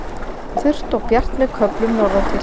Þurrt og bjart með köflum norðantil